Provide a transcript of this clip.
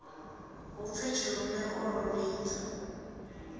hupfi tshilume o ḓo lidza